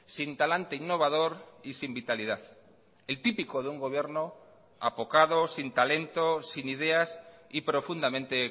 sin talante innovador y sin vitalidad el típico de un gobierno apocado sin talento sin ideas y profundamente